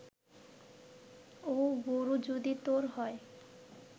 ও গোরু যদি তোর হয়